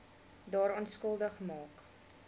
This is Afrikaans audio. daaraan skuldig maak